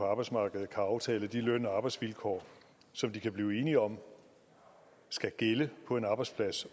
arbejdsmarkedet kan aftale de løn og arbejdsvilkår som de kan blive enige om skal gælde på en arbejdsplads